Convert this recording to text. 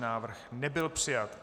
Návrh nebyl přijat.